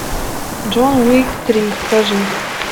джон уик три покажи